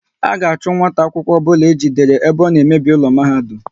A ga-achu nwata akwụkwọ obula ejidere ebe ọ na emebi ụlọ mahadum!